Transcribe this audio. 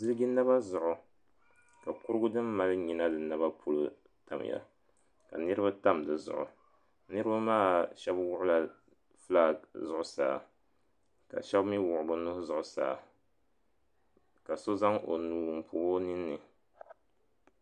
Ziliji naba zuɣu ka kurugu din mali nyina di nabapolo tamya ka niriba tam di zuɣu niriba maa shɛba wuɣila filaaki zuɣusaa ka shɛba mi wuɣi bɛ nuhi zuɣusaa ka so zaŋ o nuu m pɔbi o ninni.